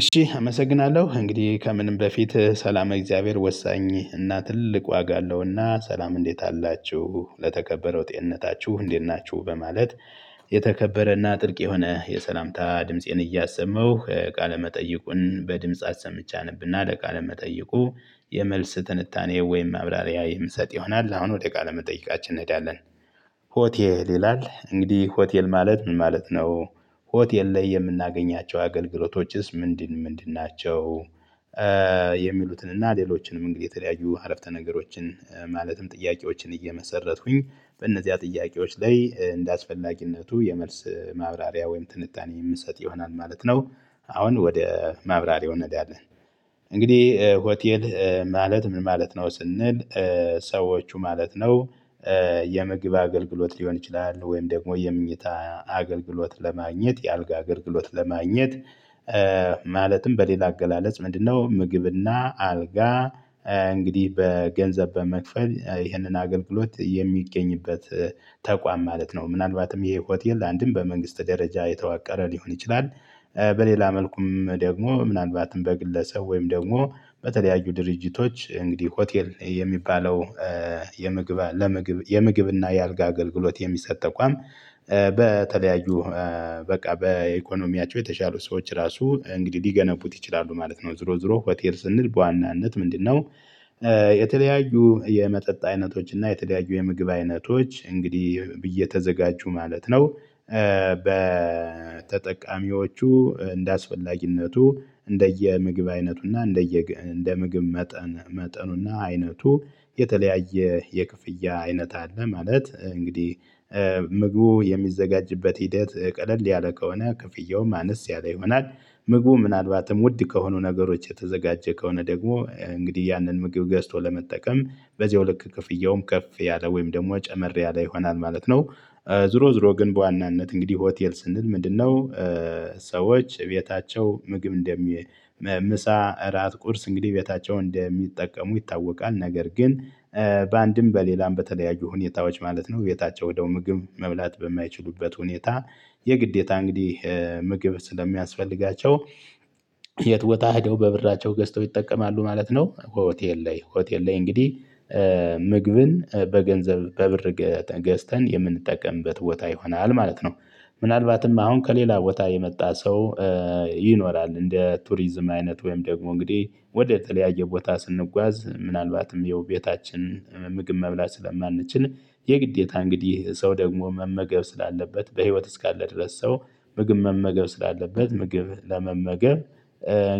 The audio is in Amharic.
እሺ አመሰግናለሁ እንግዲህ ከምንም በፊት ሰላመ እግዚአብሔር ወሳኝ እና ትልቅ ዋጋ አለውና ሰላም እንዴት አላችሁ ለተከበረው ጤንነታችሁ እንዴት ናችሁ በማለት። የተከበረና ጥልቅ የሆነ የሰላምታ ድምፄን እያሰማሁ ቃለ መጠይቁን በድምጽ አሰምቼ አነብና ለቃለመጠይቁ የመልስ ትንታኔ ወይም ማብራሪያ የምሰጥ ይሆናል አሁን ወደ ቃለ መጠይቃችን እንሄዳለን። ሆቴል ይላል እንግዲህ ሆቴል ማለት ምን ማለት ነው? ሆቴል ላይ የምናገኛቸው አገልግሎቶችስ ምንድን ምንድን ናቸው? የሚሉትን እና ሌሎችንም እንግዲህ የተለያዩ ሀረፍተ ነገሮችን ማለትም ጥያቄዎችን እየመሰረትኩኝ በእነዚያ ጥያቄዎች ላይ እንደአስፈላጊነቱ የመልስ ማብራሪያ ወይም ትንታኔ የምንሰጥ ይሆናል ማለት ነው። አሁን ወደ ማብራሪያው እንሄዳለን። እንግዲህ ሆቴል ማለት ምን ማለት ነው ስንል? ሰዎቹ ማለት ነው። የምግብ አገልግሎት ሊሆን ይችላል ወይም ደግሞ የምንኝታ አገልግሎት ለማግኘት የአልጋ አገልግሎት ለማግኘት። ማለትም በሌላ አገላለጽ ምንድነው ምግብና አልጋ? እንግዲህ በገንዘብ በመክፈል ይህንን አገልግሎት የሚገኝበት ተቋም ማለት ነው። ምናልባትም ይሄ ሆቴል ላንድም በመንግስት ደረጃ የተዋቀረ ሊሆን ይችላል። በሌላ መልኩም ደግሞ ምናልባትም በግለሰብ ወይም ደግሞ በተለያዩ ድርጅቶች እንግዲህ ሆቴል የሚባለው። የምግብ ለምግብ የምግብ እና የአልጋ አገልግሎት የሚሰጥ ተቋም። በተለያዩ በቃ በኢኮኖሚያቸው የተሻሉ ሰዎች ራሱ እንግዲህ ሊገነቡት ይችላሉ ማለት ነው። ዙሮ ዙሮ ሆቴል ስንል በዋናነት ምንድነው? የተለያዩ የመጠጥ አይነቶች እና የተለያዩ የምግብ አይነቶች እንግዲህ እየተዘጋጁ ማለት ነው። በተጠቃሚዎቹ እንደአስፈላጊነቱ እንደየ ምግብ አይነቱና እንደየ እንደምግብ መጠን መጠኑና አይነቱ የተለያየ የክፍያ አይነት አለ። ማለት እንግዲህ ምግቡ የሚዘጋጅበት ሂደት ቀለል ያለ ከሆነ ክፍያውም አነስ ያለ ይሆናል። ምግቡ ምናልባትም ውድ ከሆኑ ነገሮች የተዘጋጀ ከሆነ ደግሞ እንግዲህ ያንን ምግብ ገዝቶ ለመጠቀም በዚያው ልክ ክፍያውም ከፍ ያለ ወይም ደግሞ ጨመር ያለ ይሆናል ማለት ነው። ዙሮ ዙሮ ግን በዋናነት እንግዲህ ሆቴል ስንል ምንድነው? ሰዎች ቤታቸው ምግብ እንደ ምሳ እራት ቁርስ እንግዲህ ቤታቸውን እንደሚጠቀሙ ይታወቃል። ነገር ግን በአንድም በሌላም በተለያዩ ሁኔታዎች ማለት ነው ቤታቸው ወደው ምግብ መብላት በማይችሉበት ሁኔታ። የግዴታ እንግዲህ ምግብ ስለሚያስፈልጋቸው። የት ቦታ ሂደው በብራቸው ገዝተው ይጠቀማሉ ማለት ነው። ሆቴል ላይ ሆቴል ላይ እንግዲህ። ምግብን በገንዘብ በብር ገዝተን የምንጠቀምበት ቦታ ይሆናል ማለት ነው። ምናልባትም አሁን ከሌላ ቦታ የመጣ ሰው። ይኖራል እንደ ቱሪዝም አይነት ወይም ደግሞ እንግዲህ ወደ ተለያየ ቦታ ስንጓዝ ምናልባትም ያው ቤታችን ምግብ መብላት ስለማንችል። የግዴታ እንግዲህ ሰው ደግሞ መመገብ ስላለበት በህይወት እስካለ ድረስ ሰው ምግብ መመገብ ስላለበት ምግብ ለመመገብ።